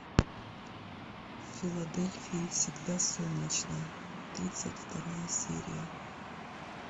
в филадельфии всегда солнечно тридцать вторая серия